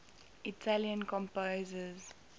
italian composers